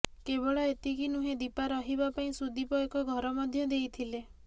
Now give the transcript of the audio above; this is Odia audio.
କେବଳ ଏତିକି ନୁହେଁ ଦୀପା ରହିବା ପାଇଁ ସୁଦିପ ଏକ ଘର ମଧ୍ୟ ଦେଇଥିଲେ